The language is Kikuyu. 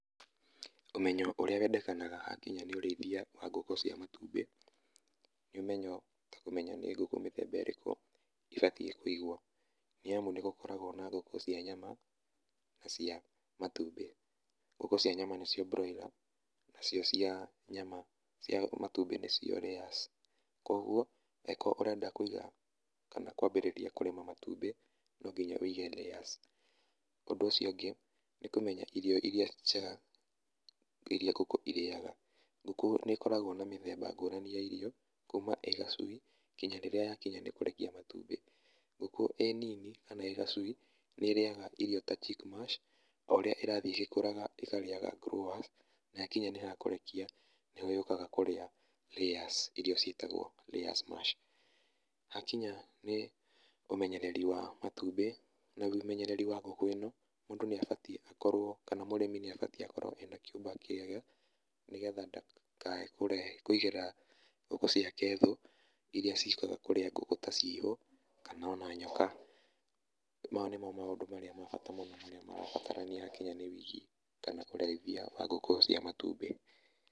Ũmenyo ũrĩa wendekanaga hakinya nĩ ũrĩithia wa ngũkũ cia matumbĩ, nĩ ũmenyo ta kũmenya nĩ ngũkũ mĩthemba ũrĩkũ ibatiĩ kũiogwo, nĩ amu nĩ gũkoragwo na ngũkũ cia nyama na cia matumbĩ. Ngũkũ cia nyama nĩ cio Broiler na cio cia matumbĩ nĩ cio layers. Kũguo angĩkorwo ũrenda kũiga kana kũambĩrĩria kũrĩma matumbĩ, no nginya wĩige layers. Ũndũ ũcio ũngĩ, nĩ kũmenya irio iria njega iria ngũkũ irĩaga, ngũkũ nĩ ĩkoragwo na mĩthemba ngũrani ya irio kuuma ĩ gacui nginya rĩrĩa yakinya nĩ kũrekia matumbĩ. Ngũkũ ĩ nini kana ĩ gacui, nĩ ĩrĩaga irio ta Chic Mash o ũrĩa ĩrathiĩ ĩgĩkũraga ĩkarĩaga Growers na yakinya nĩ ha kũrekia nĩ rĩo yũkaga kũrĩa Layers iria ciĩtagwo Layers mash. Hakinya nĩ ũmenyereri wa matumbĩ na ũmenyereri wa ngũkũ ĩno, mũndũ nĩ abatiĩ akorwo kana mũrĩmi nĩ abatiĩ akorwo ena kĩũmba kĩega, nĩgetha ndakae kũigĩra ngũkũ ciake thũũ iria ciũkaga kũrĩa ngũkũ ta ciihũ, kana ona nyoka. Maya nĩmo maũndũ marĩa ma bata mũno marĩa marabatarania hakinya nĩ wĩigi kana ũrĩithia wa ngũkũ cia matumbĩ.